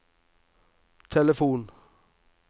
telefon